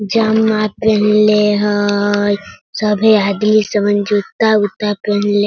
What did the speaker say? जम्मा पैहनले हई सभी आदमी समन जूता-उता पैहनले --